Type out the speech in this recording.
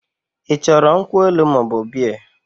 I choro nkwu elu moobu Bea?